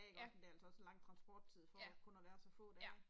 Ja. Ja. Ja